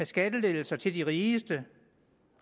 skattelettelser til de rigeste